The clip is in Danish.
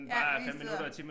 Ja lige sidde og